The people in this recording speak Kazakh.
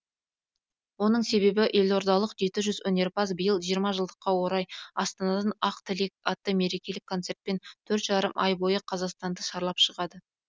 оның себебі елордалық жеті жүз өнерпаз биыл жиырма жылдыққа орай астанадан ақ тілек атты мерекелік концертпен төрт жарым ай бойы қазақстанды шарлап шығады